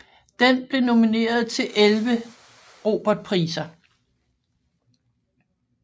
Den blev nomineret til 11 Robertpriser